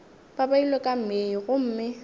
ba beilwe ka mei gomme